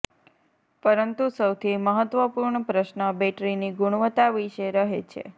પરંતુ સૌથી મહત્વપૂર્ણ પ્રશ્ન બૅટરીની ગુણવત્તા વિશે રહે છે